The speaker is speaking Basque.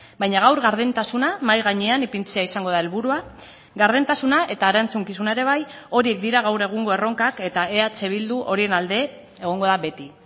baina gaur gardentasuna mahai gainean ipintzea izango da helburua gardentasuna eta erantzukizuna ere bai horiek dira gaur egungo erronkak eta eh bildu horien alde egongo da beti